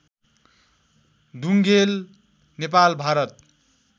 Dhungel Nepal Bharat